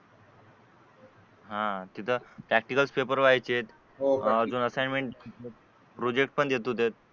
हा तिथे practical paper व्हायचे हो का आणि असाइनमेंट प्रोजेक्ट पण देत होते